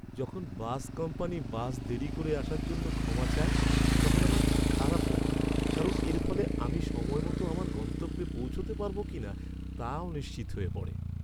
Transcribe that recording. যখন bus company bus দেরি করে আসার জন্য ক্ষমা চায় তখন আমার খারাপ লাগে, কারণ এর ফলে আমি সময় মতো আমার গন্তব্যে পৌঁছাতে পারব কিনা তা অনিশ্চিত হয়ে পড়ে।